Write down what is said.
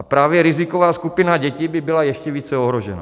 A právě riziková skupina dětí by byla ještě více ohrožena.